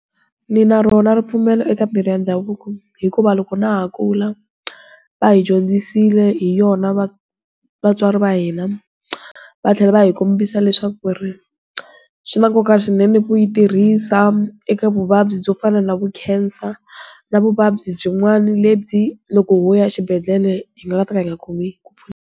Ndzi na rona ripfumelo eka mirhi ya ndhavuko, hikuva loko na ha kula, va hi dyondzisile hi yona vatswari va hina. Va tlhela va hi kombisa leswaku ri, swi na nkoka swinene ku yi tirhisa, eka vuvabyi byo fana na vu khensa, na vuvabyi byin'wana lebyi loko ho ya xibedhlele, hi nga ta ka yi nga khomi ku .